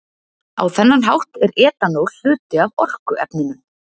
Á þennan hátt er etanól hluti af orkuefnunum.